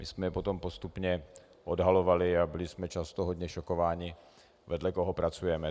My jsme je potom postupně odhalovali a byli jsme často hodně šokováni, vedle koho pracujeme.